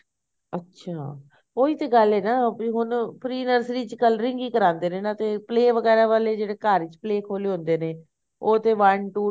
ਅੱਛਾ ਉਹੀ ਤਾਂ ਗੱਲ ਹੈ ਨਾ ਹੁਣ pre nursery ਚ coloring ਹੀ ਕਰਵਾਂਦੇ ਨੇ ਤੇ play ਵਗੈਰਾ ਵਾਲੇ ਜਿਹੜੇ ਘਰ ਵਿਚ play ਖੋਲੇ ਹੁੰਦੇ ਨੇ ਉਹ ਤੇ one two ten